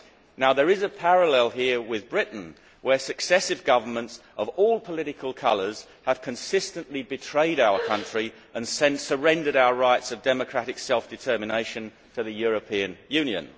Now there is a parallel here with Britain, where successive governments of all political colours have consistently betrayed our country and surrendered our rights of democratic self determination to the European Union.